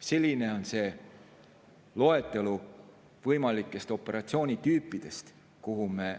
Selline on see loetelu operatsioonitüüpidest, milles me